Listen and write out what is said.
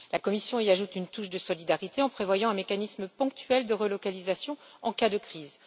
La Commission y ajoute une touche de solidarité, en prévoyant un mécanisme ponctuel de relocalisation en cas de crise.